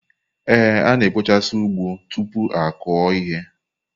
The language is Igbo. A na-ekpochasị ugbo tupu akụo ihe.